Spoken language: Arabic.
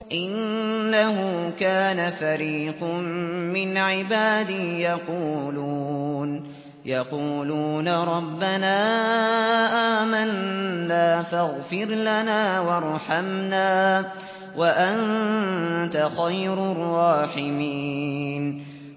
إِنَّهُ كَانَ فَرِيقٌ مِّنْ عِبَادِي يَقُولُونَ رَبَّنَا آمَنَّا فَاغْفِرْ لَنَا وَارْحَمْنَا وَأَنتَ خَيْرُ الرَّاحِمِينَ